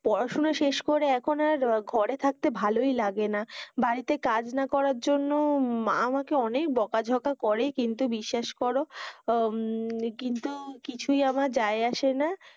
পড়াসোনা শেষ করে এখন আর ঘরে থাকতে ভালোই লাগে না, বাড়ি তে কাজ না করার জন্য মা আমাকে অনেক বকাঝকা করে কিন্তু বিশ্বাস করো আহ কিন্তু কিছুই আমার যাই আছে না